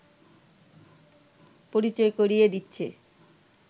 পরিচয় করিয়ে দিচ্ছে